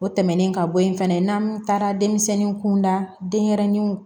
O tɛmɛnen ka bɔ yen fɛnɛ n'an taara denmisɛnninw kun da denyɛrɛninw